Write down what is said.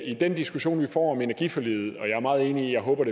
i den diskussion vi får om energiforliget og jeg er meget enig i håbet